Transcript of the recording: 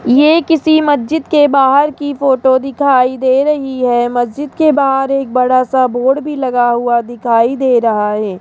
ये किसी मस्जिद के बाहर की फोटो दिखाई दे रही है मस्जिद के बाहर एक बड़ा सा बोर्ड भी लगा हुआ दिखाई दे रहा है।